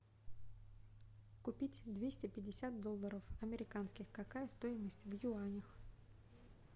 купить двести пятьдесят долларов американских какая стоимость в юанях